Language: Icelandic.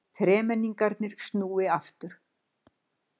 Þremenningarnir snúi aftur